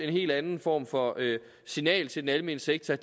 en helt anden form for signal til den almene sektor